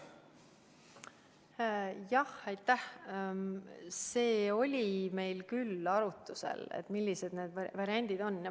Jah, see oli meil küll arutlusel, millised need variandid on.